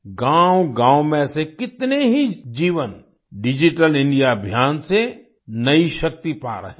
गांवगांव में ऐसे कितने ही जीवन डिजिटल इंडिया अभियान से नयी शक्ति पा रहे हैं